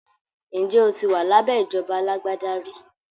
Ǹjẹ́ o ti wà lábẹ́ ìjọba alágbádá rí?